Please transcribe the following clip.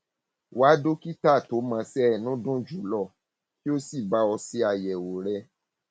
wá dókítà tó mọṣẹ ẹnu dunjú lọ kí ó sì bá ọ ṣe àyẹwò rẹ